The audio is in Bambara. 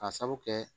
Ka sabu kɛ